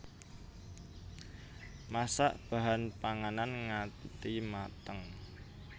Masak bahan panganan ngati mateng